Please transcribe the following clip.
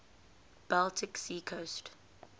baltic sea coast